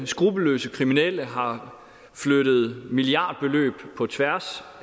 skruppelløse kriminelle har flyttet milliardbeløb på tværs